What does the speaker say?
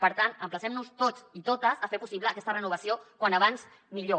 per tant emplacem nos tots i totes a fer possible aquesta renovació com més aviat millor